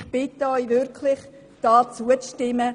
Ich bitte Sie wirklich, zuzustimmen.